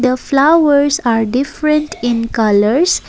flowers are different in colours.